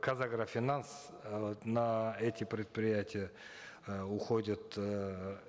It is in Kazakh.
казагрофинанс э на эти предприятия э уходят эээ